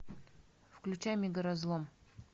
включай мегаразлом